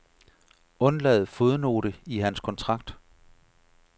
Undlad fodnote i hans kontrakt.